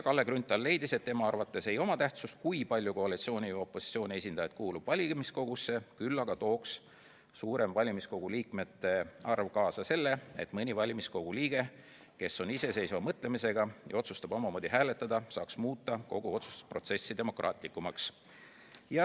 Kalle Grünthal leidis, et tema arvates ei oma tähtsust, kui palju koalitsiooni ja opositsiooni esindajad kuulub valimiskogusse, küll aga tooks suurem valimiskogu liikmete arv kaasa selle, et mõni valimiskogu liige, kes on iseseisva mõtlemisega ja otsustab omamoodi hääletada, saaks muuta kogu otsustusprotsessi demokraatlikumaks.